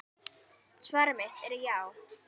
Svar mitt er já.